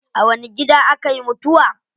A wani gida akayi mutuwa?